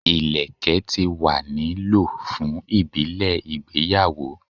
Ilẹkẹ ti wa ni lo fun ibile igbeyawo